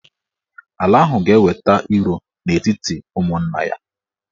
Ala ahụ ga-eweta iro n'etiti ụmụnna ya.